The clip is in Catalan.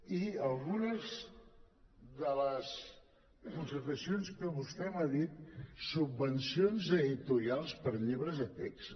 i algunes de les concertacions que vostè m’ha dit subvencions a editorials per a llibres de text